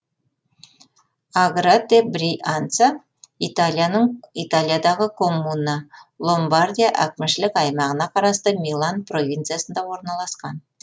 аграте брианца италияның италиядағы коммуна ломбардия әкімшілік аймағына қарасты милан провинциясында орналасқан